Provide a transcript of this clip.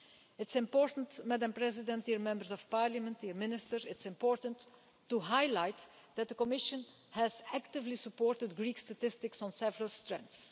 It's important to highlight that the Commission has actively supported Greek statistics on several fronts.